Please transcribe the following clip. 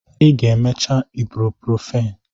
Ị ga-emecha ibuprofen!